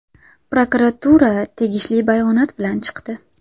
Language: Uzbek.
Prokuratura tegishli bayonot bilan chiqdi.